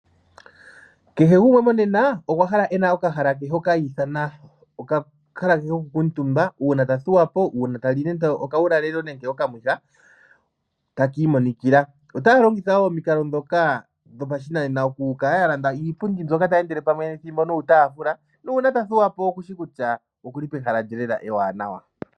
Kehe gumwe monena okwa hala e na okahala ke hoka hi ithana okahala ko kukuutumba uuna ta thuwa, uuna tali nande okawulalelo nenge okamwiha taki imonikila. Otaya longitha wo omikalo ndhoka dhopashinanena oku kala ya landa iipundi, mbyoka tayi endele pamwe nethimbo niitaafula, nuuna ta thuwa po okushi kutya oku li pehala lye ewanawa.